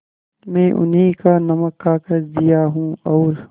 मैं उन्हीं का नमक खाकर जिया हूँ और